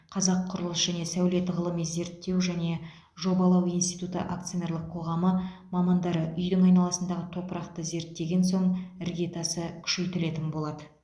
қазақ құрылыс және сәулет ғылыми зерттеу және жобалау институты акционерлік қоғамы мамандары үйдің айналасындағы топырақты зерттеген соң іргетасы күшейтілетін болады